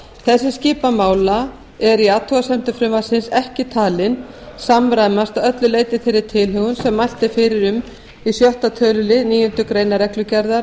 þessi skipan mála er í athugasemdum frumvarpsins ekki talin samræmast að öllu leyti þeirri tilhögun sem mælt er fyrir um í sjötta tölulið níundu grein reglugerðar